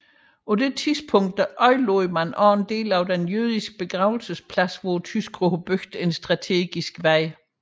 På dette tidspunkt ødelagde man også en del af den jødiske begravelsesplads hvor tyskerne byggede en strategisk vej